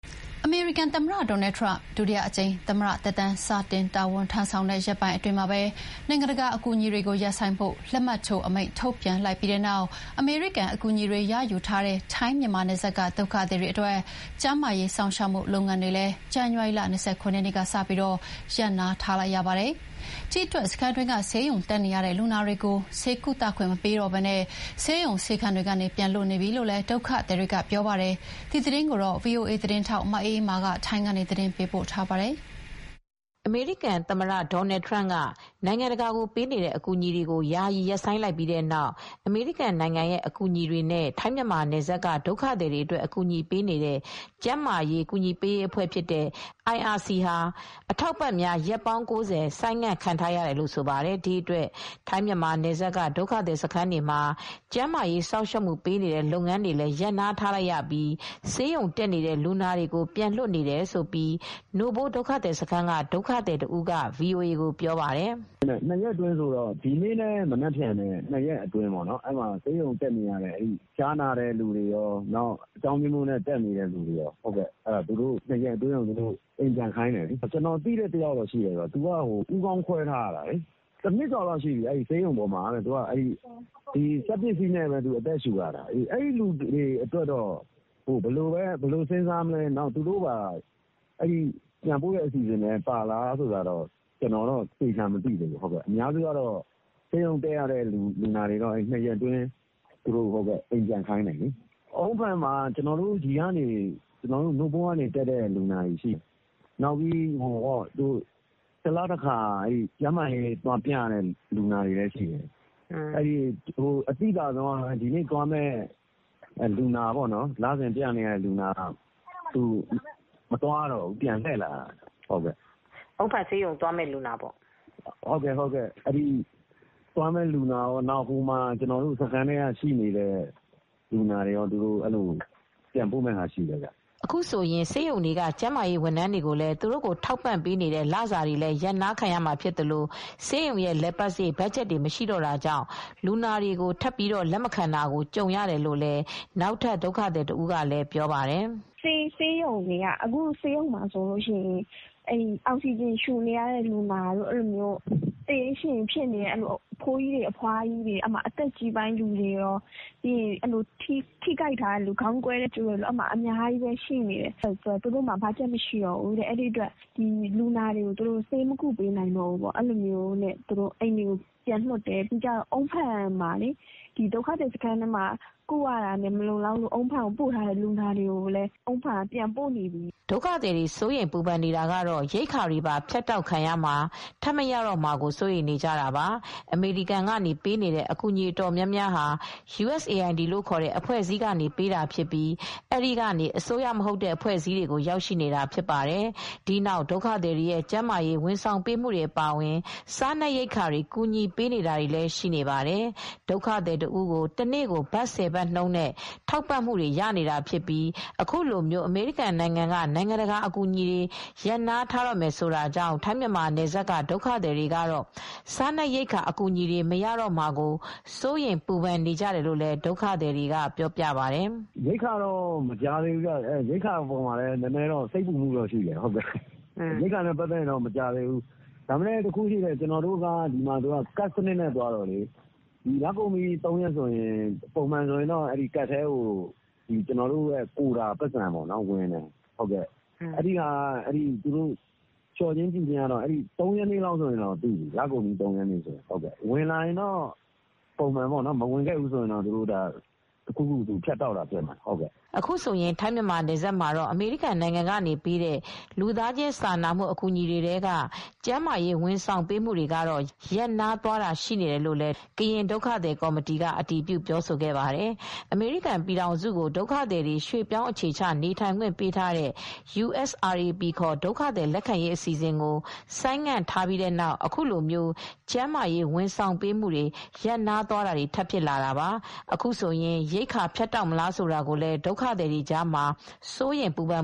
အမေရိကန်သမ္မတ Donald Trump ဒုတိယအကြိမ် သမ္မတသက်တမ်းစတင် တာဝန်ထမ်းဆောင်တဲ့ ရက်ပိုင်းအတွင်း နိုင်ငံတကာအကူအညီတွေရပ်ဆိုင်းဖို့ လက်မှတ်ထိုးအမိန့် ထုတ်လိုက်ပြီးနောက် အမေရိကန် အကူညီတွေ ရယူထားတဲ့ ထိုင်းမြန်မာနယ်စပ်က ဒုက္ခသည်တွေအတွက် ကျန်းမာရေး စောင့်ရှောက်မှု လုပ်ငန်းတွေလည်းဇန်နဝါရီလ ၂၇ ရက်နေ့က စပြီးရပ်နားထားလိုက်ရပါတယ်။ ဒီအတွက် စခန်းတွင်းက ဆေးရုံတက်နေတဲ့ လူနာတွေကို ဆေးကုသခွင့်မပေးတော့ဘဲ ဆေးရုံဆေးခန်းတွေကနေ ပြန်လွှတ်နေပြီလို့ ဒုက္ခသည်တွေက ပြောပါတယ်။ ဒီသတင်းကို ဗွီအိုအေ သတင်းထောက် မအေးအေးမာက သတင်းပေးပို့ ထားပါတယ်။ အမေရိကန်သမ္မတ Donald Trump က နိုင်ငံတကာကို ပေးနေတဲ့ အကူညီတွေကို ယာယီ ရပ်ဆိုင်းထားလိုက်ပြီးတဲ့နောက် အမေရိကန်နိုင်ငံရဲ့ အကူညီတွေနဲ့ ထိုင်းမြန်မာနယ်စပ်က ဒုက္ခသည်တွေအတွက် အကူညီပေးနေတဲ့ ကျန်းမာရေး ကူညီပေးရေး အဖွဲ့ဖြစ်တဲ့ (IRC-International Rescue Committee) ဟာအထောက်အပံ့များ ရက်ပေါင်း ၉၀ ဆိုင်းငံ့ခံထားရတယ်လို့ ဆိုပါတယ်။ ဒီအတွက် ထိုင်း မြန်မာ နယ်စပ်က ဒုက္ခသည်စခန်းတွေမှာ ကျန်းမာရေး စောင့်ရှောက်မှုပေးနေတဲ့ လုပ်ငန်းတွေလည်း ရပ်နားထားလိုက်ရပြီး ဆေးရုံတက်နေတဲ့ လူနာတွေကို ပြန်လွှတ်နေတယ်လို့ နို့ဖိုး ဒုက္ခသည်စခန်းက ဒုက္ခသည်တဦးက ဗွီအိုအေကို ပြောပါတယ်။ “၂ ရက်အတွင်းဆိုတော့ ဒီနေ့နဲ့ မနက်ဖန်အတွင်းမှာပဲ ဆေးရုံတက်နေရတဲ့ ဖျားနာတဲ့ သူတွေရော၊ အကြောင်းအမျိုးမျိုးနဲ့ တက်နေတဲ့ သူတွေရော၊ သူတို့တွေကို ၂ ရက်အတွင်း အိမ်ပြန်ခိုင်းတယ်။ ကျနော်သိတဲ့ လူနာတယောက်ရှိတယ်။ သူက ဦးခေါင်းခွဲထားရတာ။ သူက စက်ပစ္စည်းနဲ့ပဲ အသက်ရှူနေရတာ။ အဲဒီလူတွေအတွက် ဘယ်လိုစဉ်းစားမလဲ မသိဘူး။ အဲဒီလူတွေကတော့ ပြန်ခိုင်းမလား ဆိုတာ မသိဘူး။ အားလုံးကတော့ ၂ ရက်အတွင်း အိမ်ပြန်ခိုင်းနေပြီ။ အုန်းဖန်ဆေးရုံမှာတော့ ကျနော်တို့နို့ဖိုးစခန်းကနေ သွားပြီး ဆေးရုံတက်နေရတဲ့ လူနာတွေရှိတယ်။ နောက်ပြီးတလတခါ ကျန်းမာရေးသွားပြနေရတဲ့ လူနာတွေရှိတယ်။ အသိသာဆုံးကတော့ ဒီနေ့ သွားရမယ့် လူနာကတော့ မသွားရတော့ဘူး ပြန်လှည့်လာရတယ်။ ကျနော်တို့ဆီက သွားမယ့် လူနာတွေရော၊ ဟိုမှာ ကျနော်တို့ စခန်းက သွားတက်နေတဲ့ လူနာတွေရော ပြန်ပို့ခံထိမယ်။ ” အခုဆိုရင် ဆေးရုံတွေက ကျန်းမာရေး ဝန်ထမ်းတွေကိုလည်း သူတို့အတွက်ထောက်ပံ့နေတဲ့ လစာတွေလည်း ရပ်နားခံမှာဖြစ်သလို ဆေးရုံရဲ့ လည်ပတ်စရိတ် ဘတ်ဂျက်တွေ မရှိတော့တာကြောင့် လူနာတွေကို လက်မခံတော့တာကို ကြုံရတယ်လို့လည်း နောက်ထပ် ဒုက္ခသည်တဦးကလည်း ပြောပါတယ်။ “ဆေးရုံမှာဆိုရင် အောက်စီဂျင် ရှူရတဲ့ လူနာတွေ၊ သေရေးရှင်ရေး ဖြစ်နေတဲ့ အဖိုးကြီး၊ အဖွားကြီး၊ အသက်ကြီးပိုင်း လူနာတွေရှိတယ်။ ထိခိုက်ထားသူတွေရော ရှိတယ်။ သူတို့ကတော့ ပြောတယ်။ ဘတ်ဂျက် မရှိတော့ဘူး။ ဒီတော့ မကုပေးနိုင်တော့ဘူး ဆိုပြီး ပြန်လွှတ်နေတယ်။ ဒုက္ခသည်စခန်းထဲမှာ ဆေးဝါး မလုံလောက်လို့ အုန်းဖန်ဆေးရုံ ပို့ထားတဲ့သူတွေရော ပြန်လွှတ်နေပြီ။ ” ဒုက္ခသည်တွေ ကတော့ ရိက္ခာတွေပါ ဖြတ်တောက်ခံရမှာ၊ ထပ်မရတော့မှာကို စိုးရိမ်နေတာပါ။ အမေရိကန်ကနေ ပေးတဲ့ အကူအညီအတော်များများဟာ အမေရိကန်အစိုးရရဲ့ နိုင်ငံတကာထောက်ပံကူညီရေးအေဂျင်စီ USAID လို့ခေါ်တဲ့ အဖွဲ့အစည်း ကနေပေးတာဖြစ်ပြီး အဲဒီကနေအစိုးရမဟုတ်တဲ့ အဖွဲ့အစည်းတွေကို ရောက်ရှိတာဖြစ်ပါတယ်။ ဒီနောက် ဒုက္ခသည်တွေရဲ့ ကျန်းမာရေးဝန်ဆောင်ပေးမှုတွေ အပါအဝင် စားနပ်ရိက္ခာတွေ ကူညီပေးတာတွေလည်း ရှိနေပါတယ်။ ဒုက္ခသည် တဦးကို တနေ့ကို ထိုင်းငွေ ၁၀ ဘတ်နှုန်း လောက်နဲ့ ထောက်ပံ့ပေးနေတာ ဖြစ်ပြီး အခုလို အမေရိကန်နိုင်ငံက နိုင်ငံတကာအကူအညီတွေ ရပ်နားတော့မယ်ဆိုတာကြောင့် ထိုင်း မြန်မာ နယ်စပ်က ဒုက္ခသည်တွေကတော့ စားနပ်ရိက္ခာ အကူအညီ မရမှာကိုလည်း စိုးရိမ်ပူပန် နေကြရတယ်လို့လည်း ဒုက္ခသည်တွေက ပြောပြပါတယ်။ “ရိက္ခာတော့ မကြားသေးဘူး။ ရိက္ခာအပေါ်မှာလည်း စိတ်ပူနေရတယ်။ ရိက္ခာကတော့ ဒီမှာ ကဒ်စနစ်နဲ့ သွားတော့ ပုံမှန်လကုန်ပြီဆိုရင်တော့ ကဒ်ထဲကိုကျနော်တို့ "ကိုတာ" ပိုက်ဆံဝင်တယ်။ ရိက္ခာလျှော့မလား၊ မလျှော့ဘူးလားဆိုတာကို လကုန်ပြီး ၃ ရက်နေ့လောက်ဆိုသိပြီ။ ဝင်လာရင်တော့ သိရမယ်။ မဝင်လာဘူး ဆိုရင်တော့ တခုခု ဖြတ်တောက်တာ ဖြစ်မှာပဲ။” အခုဆိုရင် ထိုင်းမြန်မာ နယ်စပ်မှာတော့ အမေရိကန်က ပေးနေတဲ့ လူသားချင်း စာနာမှု အကူညီတွေထဲက ကျန်းမာရေး ဝန်ဆောင်မှု တွေကတော့ ရပ်နားသွားတာ ရှိနေတယ်လို့လည်းကရင် ဒုက္ခသည် ကော်မတီ (KRC) ကလည်း အတည်ပြု ပြောဆိုပါတယ်။ အမေရိကန် ပြည်ထောင်စုကို ဒုက္ခသည်တွေ ရွှေ့ပြောင်း အခြေချ နေထိုင်ခွင့်ပေးထားတဲ့ USRAP ခေါ် ဒုက္ခသည် လက်ခံရေး အစီအစဉ်ကို ဆိုင်းငံ့ထားလိုက်ပြီးတဲ့နောက် အခုလို ကျန်းမာရေး ဝန်ဆောင်မှုတွေ ရပ်နားသွားတာတွေ ထပ်ဖြစ်လာတာပါ။ အခုဆိုရင် ရိက္ခာဖြတ်တောက်မလား ဆိုတာကိုလည်း ဒုက္ခသည်တွေကြားမှာ စိုးရိမ်ပူပန်